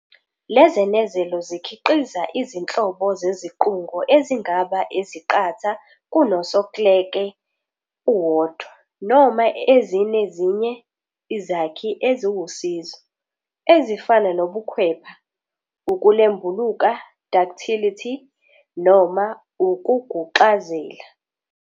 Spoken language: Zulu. Lezenezelo zikhiqiza izinhlobo zeziqungo ezingaba eziqatha kunosoklele uwodwa, noma ezinezinye izakhi eziwusizo, ezifana nobukhwepha, ukulembuluka, ductility," noma ukuguxazela.